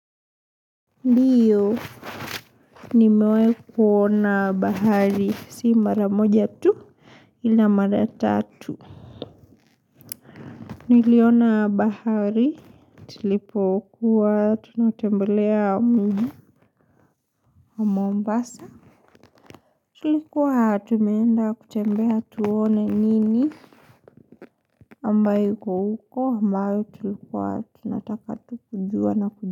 Ndiyo nimewai kuona bahari si mara moja tu ila maratatu niliona bahari tulipokuwa tunatembelea mombasa Tulikuwa tumeenda kutembea tuone nini ambayo iko uko ambayo tulikuwa tunataka tu kujua na kujua.